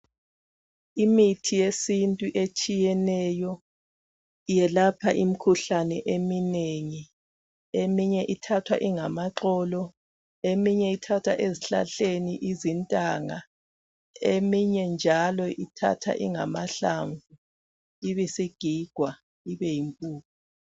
Imithi yesintu etshiyeneyo iyelapha imkhuhlane eminengi, eminye ithathwa ingamaxolo eminye ithathwa ezihlahleni izintanga eminye njalo ithathwa ingamahlamvu ibisigigwa ibe yimpuphu.